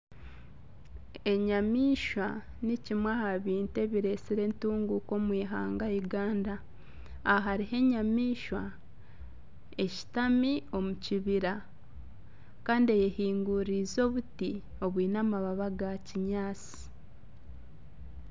Enyamaishwa nikimwe aha bintu ebiretsire entunguka omu ihanga Uganda. Aha hariho enyamaishwa eshutami omu kibira kandi eyehinguririize obuti obwiine erangi eya kinyaatsi.